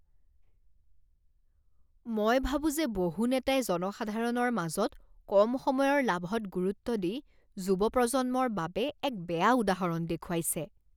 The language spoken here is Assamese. মই ভাবোঁ যে বহু নেতাই জনসাধাৰণৰ মাজত কম সময়ৰ লাভত গুৰুত্ব দি যুৱ প্ৰজন্মৰ বাবে এক বেয়া উদাহৰণ দেখুৱাইছে।